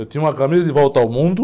Eu tinha uma camisa de volta ao mundo.